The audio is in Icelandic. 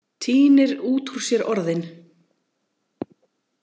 Tínir út úr sér orðin.